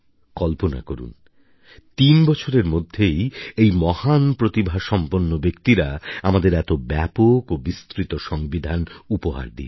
কল্পনা করুন তিন বছরের মধ্যেই এই মহান প্রতিভাসম্পন্ন ব্যক্তিরা আমদের এত ব্যাপক ও বিস্তৃত সংবিধান উপহার দিয়েছেন